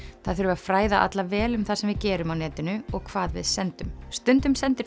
það þurfi að fræða alla vel um það sem við gerum á netinu og hvað við sendum stundum sendum